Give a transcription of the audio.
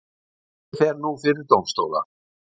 Málið fer nú fyrir dómstóla